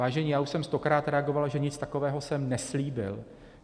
Vážení, já už jsem stokrát reagoval, že nic takového jsem neslíbil.